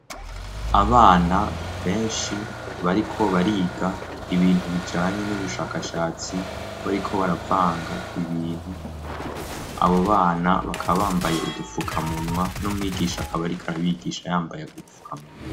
Abana benshi bariko bariga ibintu bijanye n'ubushakashatsi bariko baravanga ibintu abo bana bakabambaye udupfukamunwa no mwigisha akabarika arabigisha yambaye gupfukamunwa.